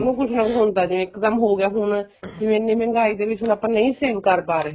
ਉਹਨੂੰ ਕੁੱਛ ਨਾ ਕੁੱਛ ਹੁੰਦਾ ਜਿਵੇਂ ਇੱਕ ਦਮ ਹੋਗਿਆ ਹੁਣ ਇੰਨੀ ਮਹਿੰਗਾਈ ਦੇ ਵਿੱਚ ਆਪਾਂ ਨਹੀਂ save ਕਰ ਪਾ ਰਹੇ